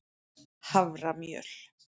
haframjöl